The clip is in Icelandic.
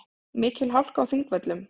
Mikil hálka á Þingvöllum